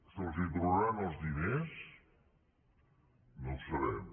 se’ls tornaran els diners no ho sabem